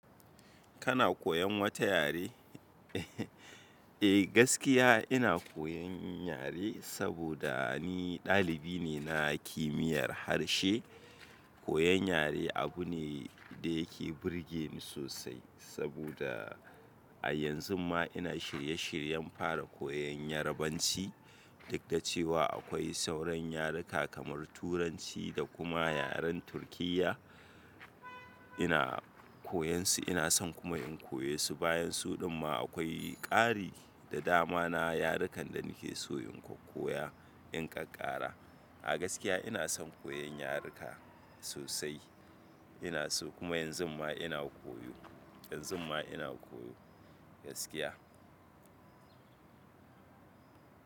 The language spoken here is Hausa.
Kana koyan wata yare? Eh gaskiya ina koyan yare saboda ni dalibi ne na kimiyar harshe. Koyan yare abu ne da yake burge ni sosai saboda a yanzun ma ina shirye shiryen fara koyan Yarbanci. Duk da cewa akwai sauran yaruka kamar Turanci da kuma yaren Turkiyya. Ina koyan su ina son kuma in koya su. Bayan su din ma akwai ƙari da dama na yarukan da nake so in koya in ƙaƙara. A gaskiya ina son koyan yaruka sosai. Ina so kuma yanzun ma ina koyo, yanzun ma ina koyo gaskiya.